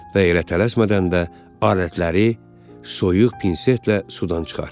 Və elə tələsmədən də alətləri soyuq pinsetlə sudan çıxartdı.